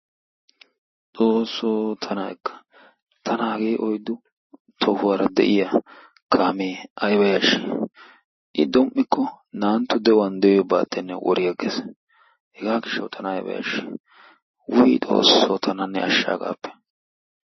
XOOSSOO tana ekka tana hagee oyddu tohuwara de"iya kaamee ayba yashshii i domm"ikko naa"antto de"iyo de"iyoyi baattenne wori agges hegaa gishshawu tana ayba yashshii. Wuyi XOOSSO tana ne ashsha hagaappe.